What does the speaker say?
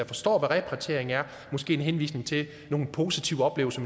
forstår hvad repatriering er måske en henvisning til nogle positive oplevelser